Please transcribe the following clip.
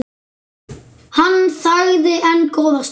Hann þagði enn góða stund.